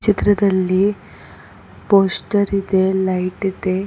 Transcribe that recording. ಚಿತ್ರದಲ್ಲಿ ಪೋಸ್ಟರ್ ಇದೆ ಲೈಟ್ ಇದೆ.